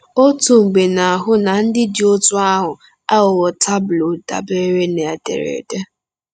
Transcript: Otu mgbe na-ahụ na ndị dị otú ahụ aghụghọ tableaux dabeere na ederede.